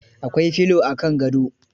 Akwai filo a kan gado.